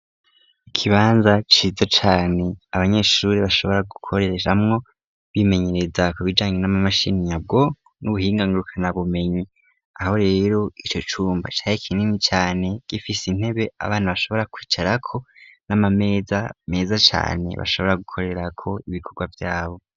Ikibanza ciza cane abanyeshuri bashobora gukoreramwo bimenyereza ku bijanye n'amamashini nyabwo n'ubuhinga ngurukanabumenyi aho rero ico cumba cari kinini cane gifise intebe abantu bashobora kwicarako nama meza cane bashobora gukorerako ibikorwa vyabo.